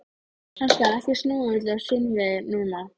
Hann skal ekki snúa öllu á sinn veg núna.